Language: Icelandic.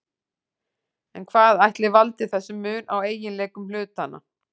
En hvað ætli valdi þessum mun á eiginleikum hlutanna?